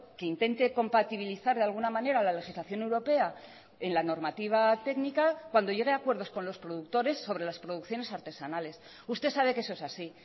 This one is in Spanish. que intente compatibilizar de alguna manera la legislación europea en la normativa técnica cuando llegue a acuerdos con los productores sobre las producciones artesanales usted sabe que eso es así